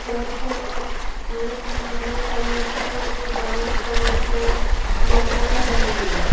जहां पे एक नीले कलर के और वाइट कलर के लगाए हुए है।